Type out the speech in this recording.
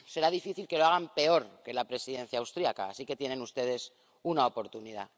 Será difícil que lo hagan peor que la Presidencia austríaca, así que tienen ustedes una oportunidad.